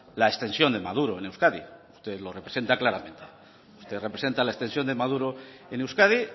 la extensión de maduro en euskadi usted lo representa claramente usted representa la extensión de maduro en euskadi